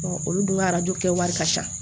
olu dun ka arajo kɛ wari ka ca